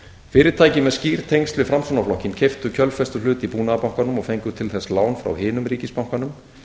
fyrirtæki með skýr tengsl við framsóknarflokkinn keyptu kjölfestuhlut í búnaðarbankanum og fengu til þess lán frá hinum ríkisbankanum